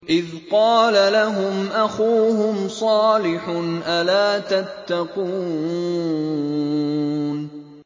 إِذْ قَالَ لَهُمْ أَخُوهُمْ صَالِحٌ أَلَا تَتَّقُونَ